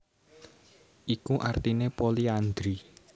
Iku artine poliandri